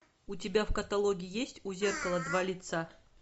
у тебя в каталоге есть у зеркала два лица